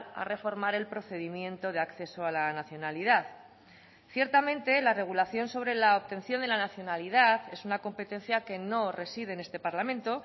a reformar el procedimiento de acceso a la nacionalidad ciertamente la regulación sobre la obtención de la nacionalidad es una competencia que no reside en este parlamento